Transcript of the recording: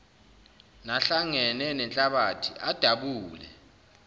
nahlangene nenhlabathi adabule